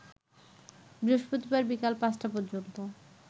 বৃহস্পতিবার বিকেল পাঁচটা পর্যন্ত